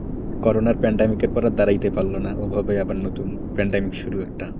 corona pandemic এর পর আর দাঁড়াইতে পারল নাওভাবে আবার নতুন pandemic শুরু একটা,